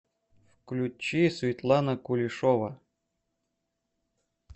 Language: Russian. включи светлана кулешова